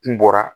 Kun bɔra